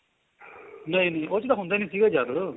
ਨਹੀਂ ਨਹੀਂ ਉਸ ਚ ਹੁੰਦਾ ਹੀ ਨਹੀਂ ਜਿਆਦਾਤਰ